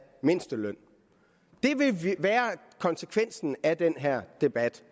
mindsteløn det vil være konsekvensen af den her debat